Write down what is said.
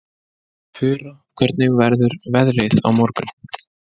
Fura, hvernig verður veðrið á morgun?